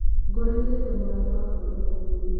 Ngoranire na mũrata wakwa thokoinĩ.